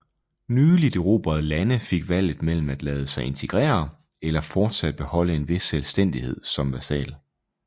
Nyligt erobrede lande fik valget mellem at lade sig integrere eller fortsat beholde en vis selvstændighed som vasal